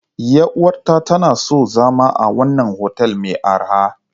Yar uwata tana son zama a wannan otel mai arha.